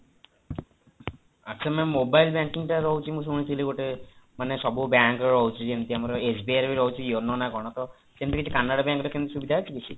ଆଚ୍ଛା ma'am mobile banking ଟା ରହୁଛି ମୁଁ ଶୁଣିଥିଲି ଗୋଟେ ମାନେ ସବୁ bank ର ଯେମିତି ଆମର SBI ରେ ବି ରହୁଛି yono ନା କଣ ତ ସେମିତି କିଛି canara bank ରେ କେମିତି ସୁବିଧା ଅଛି କିଛି